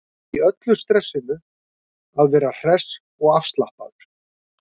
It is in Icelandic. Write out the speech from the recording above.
Í öllu stressinu að vera hress og afslappaður.